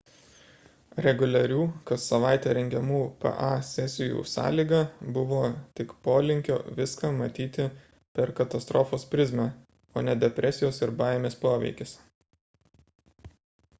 reguliarių kas savaitę rengiamų pa sesijų sąlyga buvo tik polinkio viską matyti per katastrofos prizmę o ne depresijos ir baimės poveikis